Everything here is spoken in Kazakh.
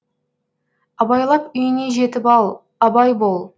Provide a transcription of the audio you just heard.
абайлап үйіңе жетіп ал абай бол